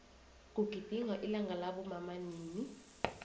kugidingwa ilanga labomama nini